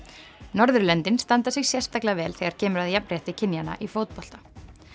Norðurlöndin standa sig sérstaklega vel þegar kemur að jafnrétti kynjanna í fótbolta